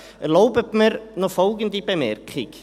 Erlauben Sie mir noch folgende Bemerkung: